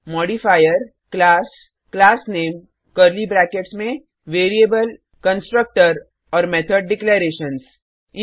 modifier - class classname curly brackets में variable constructor और method declarations